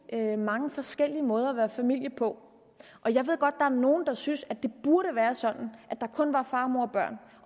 mange forskellige måder at være familie på jeg ved godt at er nogle der synes at det burde være sådan at der kun er far mor og børn